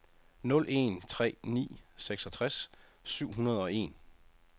nul en tre ni seksogtres syv hundrede og en